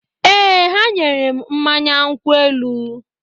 Ee, ha nyere m mmanya nkwụ elu